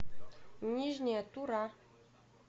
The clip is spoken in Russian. нижняя тура